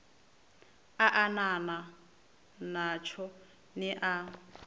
a anana natsho ni a